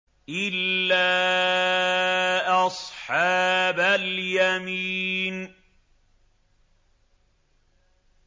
إِلَّا أَصْحَابَ الْيَمِينِ